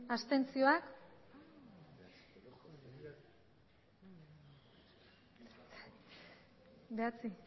abstentzioa